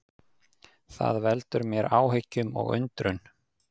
Það veldur mér áhyggjum og undrun